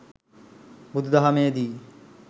බුදු දහමේ දී